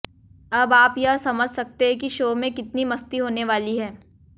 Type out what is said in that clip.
अब आप यह समझ सकते हैं कि शो में कितनी मस्ती होने वाली है